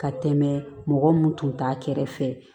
Ka tɛmɛ mɔgɔ mun tun t'a kɛrɛfɛ